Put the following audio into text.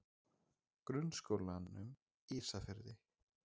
Grunnskólanum Ísafirði